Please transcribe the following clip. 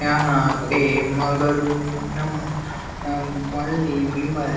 यहां पे मंगरूनम अम ओनली विमल--